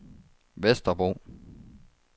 Vesterbro